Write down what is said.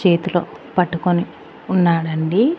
చేతిలో పట్టుకుని ఉన్నాడండి.